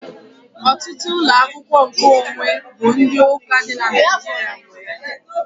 Ọtụtụ ụlọ akwụkwọ nkeonwe bụ ndị ụka dị na Naịjirịa nwe ya.